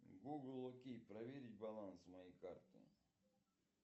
гугл окей проверить баланс моей карты